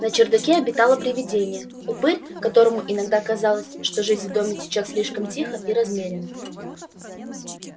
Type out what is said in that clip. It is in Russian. на чердаке обитало привидение упырь которому иногда казалось что жизнь в доме течёт слишком тихо и размеренно